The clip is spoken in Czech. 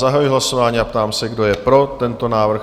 Zahajuji hlasování a ptám se, kdo je pro tento návrh?